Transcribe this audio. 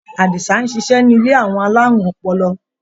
Àdìsá ń ṣiṣẹ́ ní ilé àwọn alárùn ọpọlọ.